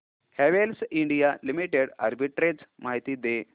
Havells India limited arbitrage माहिती दे